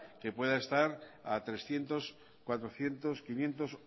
que pueda estar a trescientos cuatrocientos quinientos